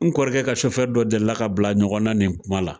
N kɔrɔkɛ ka sofɛfi dɔ delila ka bila ɲɔgɔn na nin kuma la.